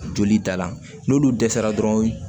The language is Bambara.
Joli da la n'olu dɛsɛra dɔrɔn